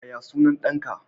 Yaya sunan ɗanka?